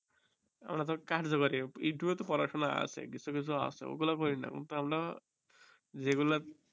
আমরা তো youtube এ পড়াশোনা আছে কিছু কিছু আছে গুলো পরি না কিন্তু আমরা